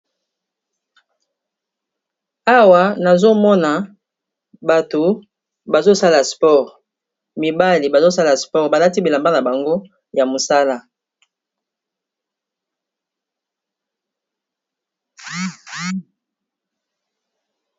Awa nazomona bato bazosala spore mibali bazosala sport, balati bilamba na bango ya mosala.